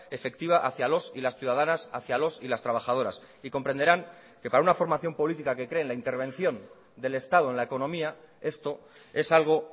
efectiva hacia los y las ciudadanas hacia los y las trabajadoras y comprenderán que para una formación política que cree en la intervención del estado en la economía esto es algo